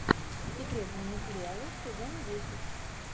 секретные материалы сезон десять